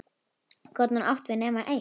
Gat hún átt við nema eitt?